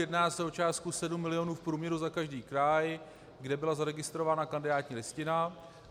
Jedná se o částku 7 milionů v průměru za každý kraj, kde byla zaregistrována kandidátní listina.